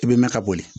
I bɛ mɛn ka boli